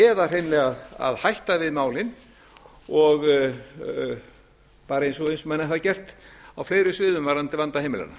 eða hreinlega að hætta við málin og bara eins og menn hafa gert á fleiri sviðum varðandi vanda heimilanna